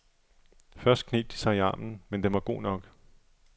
Først kneb de sig i armen, men den var go nok.